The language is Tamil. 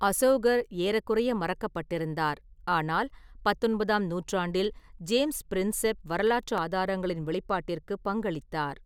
அசோகர் ஏறக்குறைய மறக்கப்பட்டிருந்தார், ஆனால் பத்தொன்பதாம் நூற்றாண்டில், ஜேம்ஸ் பிரின்செப் வரலாற்று ஆதாரங்களின் வெளிப்பாட்டிற்கு பங்களித்தார்.